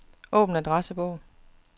Åbn adressebog.